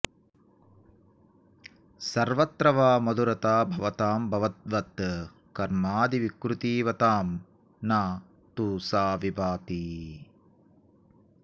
सर्वत्र वा मधुरता भवतां भवद्वत् कर्मादिविकृतिवतां न तु सा विभाति